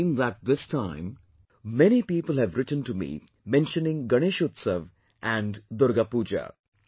I have seen that this time, many people have written to me mentioning Ganeshotsav and Durga Puja